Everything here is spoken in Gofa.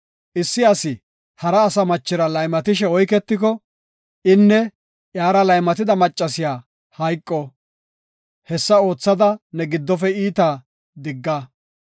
Issi asi hara asa machira laymatishe oyketiko, inne iyara laymatida maccasiya hayqo. Hessada oothada ne giddofe iitaa digga.